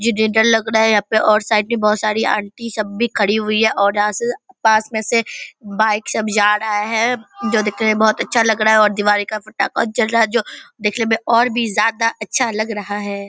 ये डेंटल लग रहा है यहाँ पर ओर साइड पे बहोत सारे आंटी सब भी खड़ी हुई है और यहाँ पे पास में से बाइक सब जा रहा है जो दिखने में बहोत अच्छा लग रहा है और दिवाली का पटखा जल रहा है जो देखने में और भी ज्यादा अच्छा लग रहा है ।